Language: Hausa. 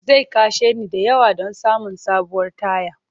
Zai kashe ni da yawa don samun sabuwar taya.